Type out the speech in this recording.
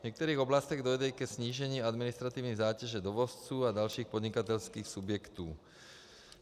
V některých oblastech dojde i ke snížení administrativní zátěže dovozců a dalších podnikatelských subjektů.